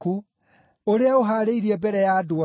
ũrĩa ũhaarĩirie mbere ya andũ othe,